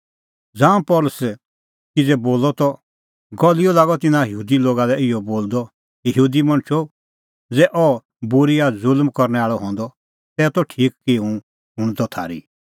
ज़ांऊं पल़सी किज़ै बोली लाअ त गलिओ लागअ तिन्नां यहूदी लोगा लै इहअ बोलदअ हे यहूदी मणछो ज़ै अह बूरअ या ज़ुल्म करनै आल़अ हंदअ तै त ठीक की हुंह शुणदअ थारी